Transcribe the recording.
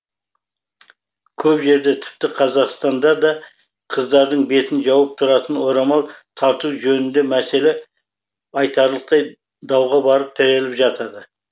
көп жерде тіпті қазақстанда да қыздардың бетін жауып тұратын орамал тартуы жөнінде мәселе айтарлықтай дауға барып тіреліп жатады